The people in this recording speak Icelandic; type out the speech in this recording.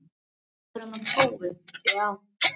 Hvað kom þar fram og hefur starfsfólki verið sagt upp störfum?